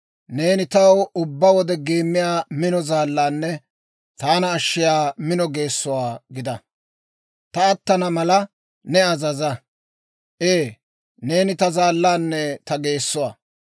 Neeni taw ubbaa wode geemmiyaa mino zaallaanne, taana ashshiyaa mino geessuwaa gida. Ta attana mala ne azaza. Ee, neeni ta zaallaanne ta geessuwaa.